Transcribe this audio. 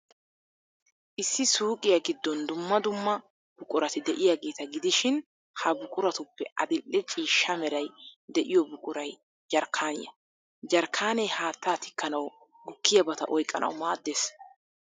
Issi suuqiyaa giddon dumma dumma buqurati de'iyaageeta gidishin, ha buquratuppe adil''e ciishsha meray de'iyoo buquray jarkkaaniyaa. Jarkkaanee haattaa tikkanawu, gukkiyabata oyqqanawu maaddees.